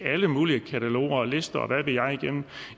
alle mulige kataloger og lister og hvad ved jeg igennem